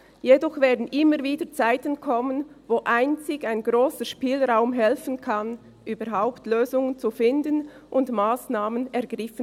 Jedoch werden immer wieder Zeiten kommen, wo einzig ein grosser Spielraum helfen kann, überhaupt Lösungen zu finden und Massnahmen zu ergreifen.